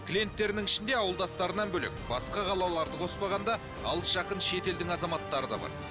клиенттерінің ішінде ауылдастарынан бөлек басқа қалаларды қоспағанда алыс жақын шетелдің азаматтары да бар